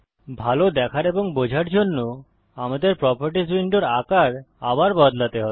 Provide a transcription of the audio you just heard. ভাল দেখার এবং বোঝার জন্য আমাদের প্রোপার্টিস উইন্ডোর আকার আবার বদলাতে হবে